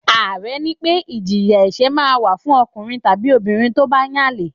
Àrẹ nipẹ; ìjíyà ese mà wà fún òkúnrin tàbí òbirín tọ bà yàlẹ